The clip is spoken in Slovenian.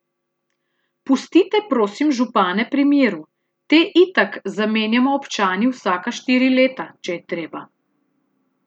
Pustite, prosim, župane pri miru, te itak zamenjamo občani vsaka štiri leta, če je treba.